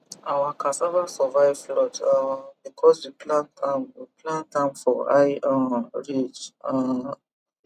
our cassava survive flood um because we plant am we plant am for high um ridge um